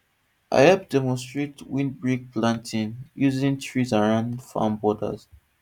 i hep demonstrate windbreak planting using trees around farm borders